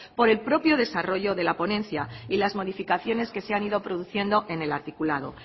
por el propio desarrollo de la ponencia y las modificaciones que se han ido produciendo en el articulado